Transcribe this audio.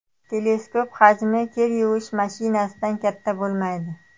Teleskop hajmi kir yuvish mashinasidan katta bo‘lmaydi.